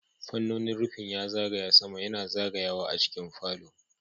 Fannonin rufin ya zagaya sama yana zagayawa a cikin falo.